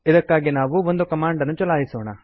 ಇದಕ್ಕಾಗಿ ನಾವು ಒಂದು ಕಮಾಂಡ್ ನ್ನು ಚಲಾಯಿಸೋಣ